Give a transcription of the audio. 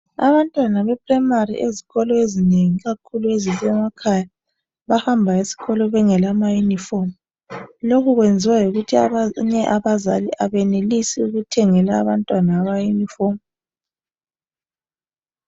abantwana be primary ezikolo ezinengi ikakhulu ezisemakhaya bahamba esikolo bengela ma uniform lokhu kuyenziwa yikuthi abanye abazali abenelisi ukuthengela abantwana ama yunifomu.